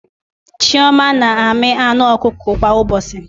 Chioma na-amị anụ ọkụkọ kwa ụbọchị